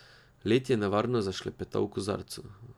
Led je nevarno zašklepetal v kozarcu.